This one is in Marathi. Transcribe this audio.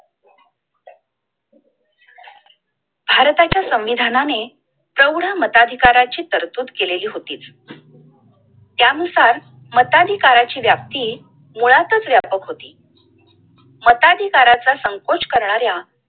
भारताच्या संविधानाने चौढ मताधिकाराची चर्चूत केलेली होती! त्यानुसार मताधिकाराची व्याप्ती मुळातच व्यापक होती! मताधिकाराचा संकोच करणाऱ्या